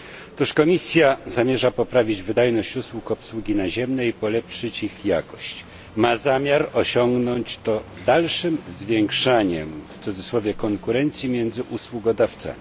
Otóż Komisja zamierza poprawić wydajność usług obsługi naziemnej i polepszyć ich jakość, ma zamiar osiągnąć to dalszym zwiększaniem konkurencji między usługodawcami.